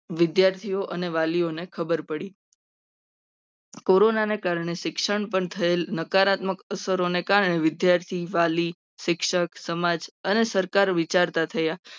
એ વિદ્યાર્થીઓને વાલીઓને ખબર પડી. કોરોના ને કારણે શિક્ષણ પણ થયેલ નકારાત્મક અસરોને કારણે વિદ્યાર્થી વાલી શિક્ષણ સમાજ અને સરકાર વિચારતા થયા.